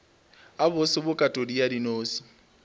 a bose bokatodi ya dinose